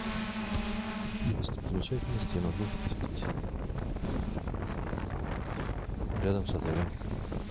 какие достопримечательности я могу посетить рядом с отелем